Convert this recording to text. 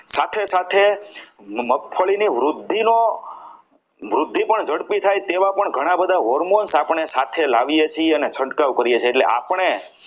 સાથે સાથે મગફળીનું વૃદ્ધિ પણ ઝડપી થાય તેવા પણ ઘણા બધા hormones આપણી સાથે લાવીએ છીએ અને છંટકાવ કરીએ છીએ એટલે આપણે